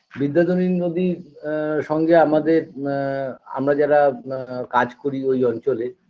বিদ্যাধরী নদীর আ সঙ্গে আমাদের আ আমরা যারা আ কাজ করি ওই অঞ্চলে